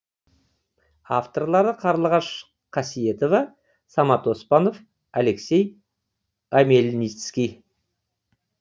авторлары қарлығаш қасиетова самат оспанов алексей омельницкий